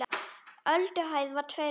Ölduhæð var tveir metrar.